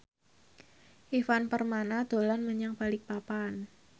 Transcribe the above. Ivan Permana dolan menyang Balikpapan